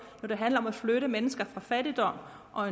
når det handler om at flytte mennesker fra fattigdom og